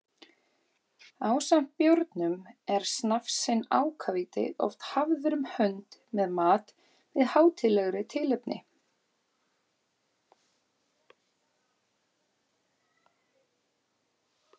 Ásamt bjórnum er snafsinn ákavíti oft hafður um hönd með mat við hátíðlegri tilefni.